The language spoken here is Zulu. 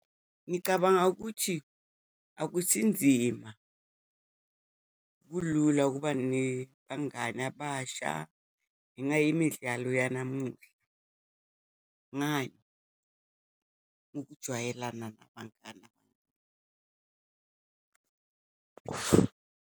Ngicabanga ukuthi akusinzima, kulula ukuba nebangani abasha, ngenxa yemidlalo yanamuhla. Ngani? Ngokujwayelana nabangani .